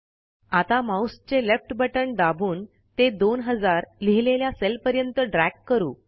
आता माऊसचे left button दाबून ते 2000 लिहिलेल्या सेलपर्यंत ड्रॅग करू